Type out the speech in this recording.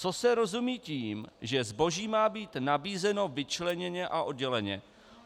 Co se rozumí tím, že zboží má být nabízeno vyčleněně a odděleně?